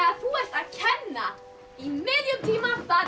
þú ert að kenna í miðjum tíma það er